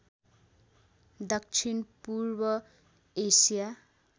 दक्षिण पूर्व एसिया